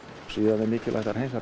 síðan er mikilvægt að hreinsa